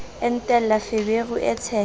entela feberu e tshehla ha